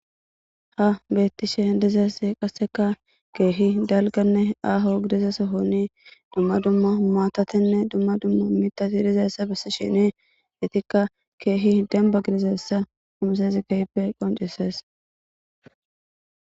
Ha beetishe dizaysi kaseka keehi dalgane aaho gidiza sohone duma duma maatatine duma duma mithati dizaysa besishini etika keehi demba gidizaysa qoncises.